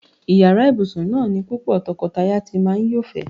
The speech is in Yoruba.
Yàrá ìbùsùn náà ni púpò̩ to̩ko̩taya ti máa ń yófè̩é̩.